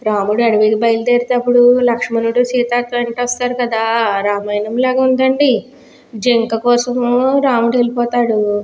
రాముడు అడవులకు బయలుదేరేటప్పుడు లక్ష్మణుడు సీత వెంట వస్తారు కదా రామాయణం లాగా ఉందండి జింక కోసం రాముడు వెళ్ళిపోతాడు.